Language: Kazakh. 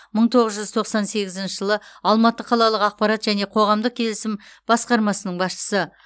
мың тоғыз жүз тоқсан сегізінші жылы алматы қалалық ақпарат және қоғамдық келісім басқармасының басшысы